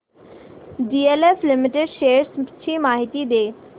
DLF limited shares ची माहिती दे